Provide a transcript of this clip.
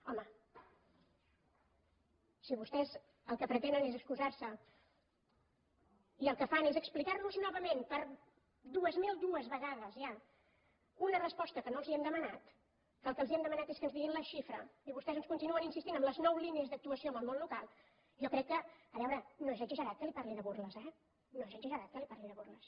home si vostès el que pretenen és excusar se i el que fan és explicar nos novament per dues mil dues vegades ja una resposta que no els hem demanat que el que els hem demanat és que ens diguin la xifra i vostès ens continuen insistint en les nou línies d’actuació amb el món local jo crec que a veure no és exagerat que li parli de burles eh no és exagerat que li parli de burles